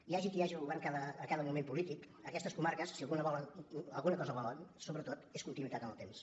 hi hagi qui hagi al govern a cada moment polític aquestes comarques si alguna cosa volen sobretot és continuïtat en el temps